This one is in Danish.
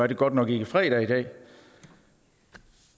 det godt nok ikke fredag i dag